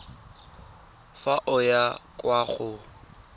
fa o ya kwa go